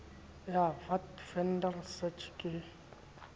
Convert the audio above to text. ya vat vendor search ke